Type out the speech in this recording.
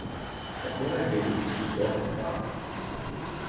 Kako naj beli v bistvu sploh napade?